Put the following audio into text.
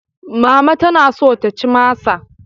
Mama tana so ta ci masa.